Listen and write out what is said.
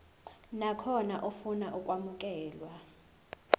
nakhona ofuna ukwamukelwa